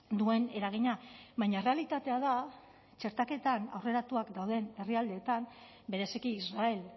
duen eragina baina errealitatea da txertaketan aurreratuak dauden herrialdeetan bereziki israel